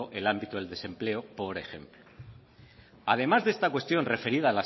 el ámbito del desempleo por ejemplo además de esta cuestión referida